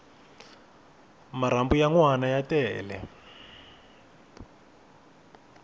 marhambu ya nwana ya tele